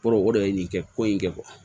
Kɔrɔ o de ye nin kɛ ko in kɛ